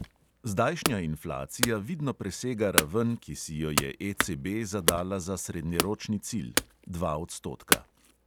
Zdajšnja inflacija vidno presega raven, ki si jo je ECB zadala za srednjeročni cilj – dva odstotka.